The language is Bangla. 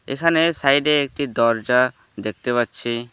এখানে সাইডে একটি দরজা দেখতে পাচ্ছি।